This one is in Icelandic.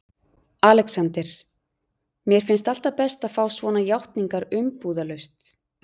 ALEXANDER: Mér finnst alltaf best að fá svona játningar umbúðalaust.